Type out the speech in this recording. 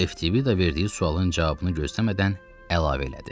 Eftibida verdiyi sualın cavabını gözləmədən əlavə elədi: